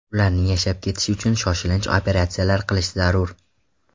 Ularning yashab ketishi uchun shoshilinch operatsiyalar qilish zarur.